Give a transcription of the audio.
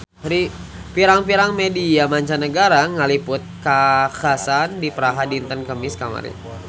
Pirang-pirang media mancanagara ngaliput kakhasan di Praha dinten Kemis kamari